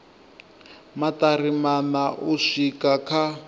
maṱari maṋa u swika kha